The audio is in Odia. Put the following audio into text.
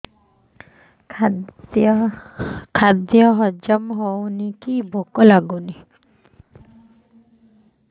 ଖାଦ୍ୟ ହଜମ ହଉନି କି ଭୋକ ଲାଗୁନି